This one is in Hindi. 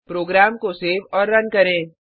प्रोग्राम को सेव और रन करें